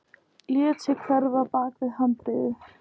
Lét sig hverfa bak við handriðið.